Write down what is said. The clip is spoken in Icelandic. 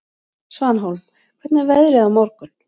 Svanhólm, hvernig er veðrið á morgun?